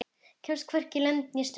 Kemst hvorki lönd né strönd.